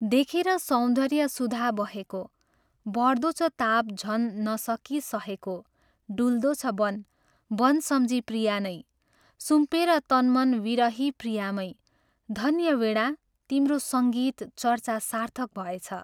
देखेर सौन्दर्य सुधां बहेको, बढ्दो छ ताप् झन् नसकी सहेको डुल्दो छ वन् वन् समझी प्रिया नै, सुम्पेर तन्मन् विरही प्रियामै धन्य वीणा तिम्रो सङ्गीत चर्चा सार्थक भएछ।